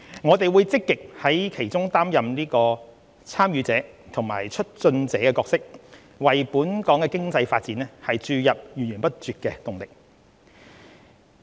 我們會積極在其中擔任"參與者"和"促進者"角色，為本港經濟發展注入源源不絕的動力。